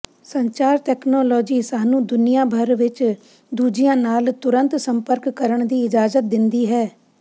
ਸੰਚਾਰ ਤਕਨਾਲੋਜੀ ਸਾਨੂੰ ਦੁਨੀਆਂ ਭਰ ਵਿੱਚ ਦੂਜਿਆਂ ਨਾਲ ਤੁਰੰਤ ਸੰਪਰਕ ਕਰਨ ਦੀ ਇਜਾਜ਼ਤ ਦਿੰਦੀ ਹੈ